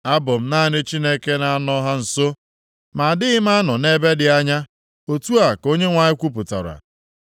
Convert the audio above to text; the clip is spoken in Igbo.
“Abụ m naanị Chineke na-anọ ha nso, ma adịghị m anọ nʼebe dị anya?” Otu a ka Onyenwe anyị kwupụtara.